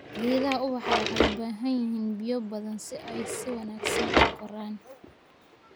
Geedaha ubaxa waxay u baahan yihiin biyo badan si ay si wanaagsan u koraan.